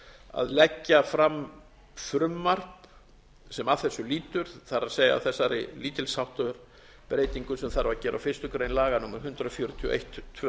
að leggja fram frumvarp sem að þessu lýtur það er þessari lítils háttar breytingu sem þarf að gera á fyrstu grein laga númer hundrað fjörutíu og eitt tvö